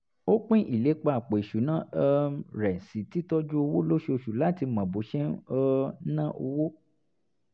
ó pín ìlépa àpò ìṣúnná um rẹ̀ sí títọ́jú owó lóṣooṣù láti mọ bó ṣe um ń ná owó